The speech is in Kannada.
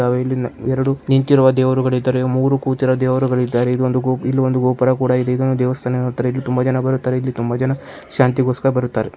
ಇಲ್ಲಿ ಎರಡು ನಿಂತಿರುವ ದೇವರುಗಳು ಇದ್ದಾರೆ ಮೂರು ಕೂತಿರುವ ದೇವರುಗಳು ಇದ್ದಾರೆ ಇಲ್ಲಿ ಒಂದು ಇಲ್ಲಿ ಒಂದು ಗೋಪೂರ ಕೂಡ ಇದೆ ದೇವಸ್ಥಾನ ತುಂಬ ಜನ ಬರುತಾರೆ ಇಲ್ಲಿ ತುಂಬ ಜನ ಶಾಂತಿ ಗೋಸ್ಕರ ಬರುತ್ತಾರೆ --